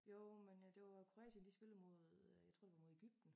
Jo men øh det var Kroatien de spillede mod øh jeg tror det var Egypten